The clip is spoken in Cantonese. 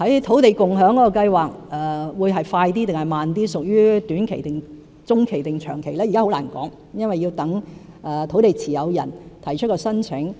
土地共享計劃是快是慢，屬於短期、中期還是長期，現在很難說，因為要待土地持有人提出申請。